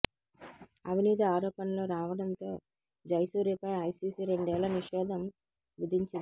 అవినీతి ఆరోపణలు రావడంతో జయసూర్యపై ఐసీసీ రెండేళ్ల నిషేధం విధించింది